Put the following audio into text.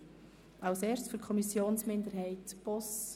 Zuerst hat Grossrat Boss für die Kommissionsminderheit I das Wort.